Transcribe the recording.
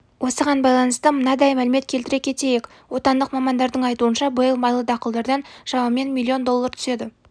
осыған байланысты мынадай мәлімет келтіре кетейік отандық мамандардың айтуынша биыл майлы дақылдардан шамамен миллион доллар түседі